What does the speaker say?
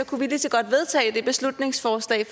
kunne vi lige så godt vedtage det beslutningsforslag